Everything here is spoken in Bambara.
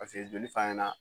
joli fana na